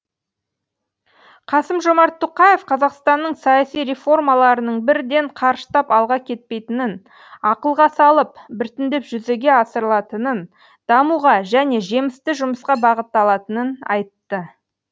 қасым жомарт тоқаев қазақстанның саяси реформаларының бірден қарыштап алға кетпейтінін ақылға салып біртіндеп жүзеге асырылатынын дамуға және жемісті жұмысқа бағытталатынын айтты